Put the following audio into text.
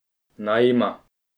Naj ima.